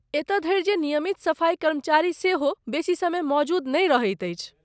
एतऽ धरि जे नियमित सफाई कर्मचारी सेहो बेसी समय मौजूद नहि रहैत अछि।